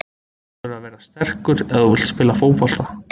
Þú verður að vera sterkur ef þú vilt spila fótbolta.